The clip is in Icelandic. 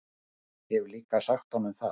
Hef líka sagt honum það.